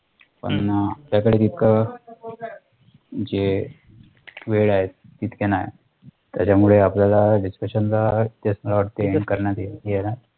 पण अह आपल्याकडे तितकं जे वेळ ए तितके नाही त्याच्यामुळे आपल्याला discussion ला तेच मला वाटते